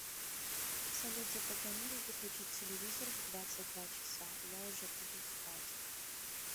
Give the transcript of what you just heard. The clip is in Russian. салют запрограммируй выключить телевизор в двадцать два часа я уже буду спать